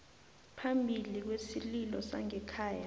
phambili kwesililo sangekhaya